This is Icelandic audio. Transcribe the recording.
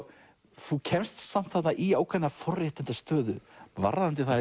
þú kemst samt þarna í ákveðna forréttindastöðu varðandi það